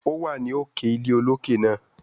ó wà ní òkè ilé òkè náà.